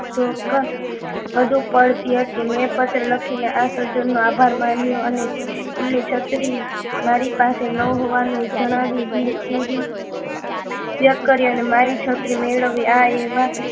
ચોક્કસ વધુ પડતી હતી મેં પત્ર લખી આ સજ્જનનો આભાર માન્યો અને એમની છત્રી મારી પાસે ન હોવાનું જણાવી દિલગીર વ્યક્ત કરી અને મારી છત્રી મેળવી એવા